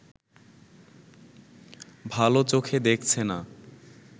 ভালো চোখে দেখছে না